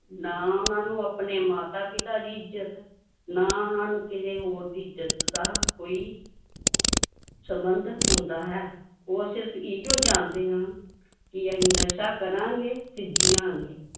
ਨਾ ਉਹਨਾਂ ਨੂੰ ਆਪਣੇ ਮਾਤਾ ਪਿਤਾ ਦੀ ਇੱਜ਼ਤ, ਨਾ ਉਹਨਾਂ ਨੂੰ ਕਿਸੇ ਹੋਰ ਦੀ ਇੱਜ਼ਤ ਦਾ ਕੋਈ ਸੰਬੰਧ ਹੁੰਦਾ ਹੈ, ਉਹ ਸਿਰਫ਼ ਇਹੀਓ ਜਾਣਦੇ ਹਨ, ਕਿ ਅਸੀਂ ਨਸ਼ਾ ਕਰਾਂਗੇ ਤੇ ਜੀਆਂਗੇ